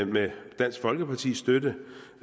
med dansk folkepartis støtte